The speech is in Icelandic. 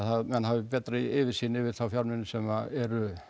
menn hafi betri yfirsýn yfir þá fjármuni sem eru